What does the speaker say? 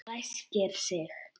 Ræskir sig.